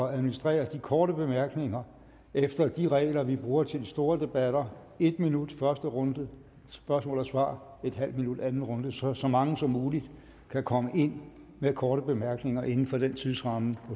at administrere de korte bemærkninger efter de regler vi bruger til de store debatter en minut i første runde til spørgsmål og svar og en halv minut i anden runde så så mange som muligt kan komme ind med korte bemærkninger inden for den tidsramme